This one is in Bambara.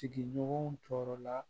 Sigiɲɔgɔnw tɔɔrɔ la